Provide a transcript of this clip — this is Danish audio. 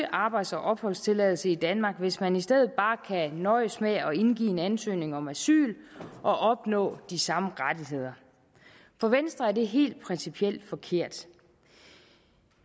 arbejds og opholdstilladelse i danmark hvis man i stedet bare kan nøjes med at indgive en ansøgning om asyl og opnå de samme rettigheder for venstre er det helt principielt forkert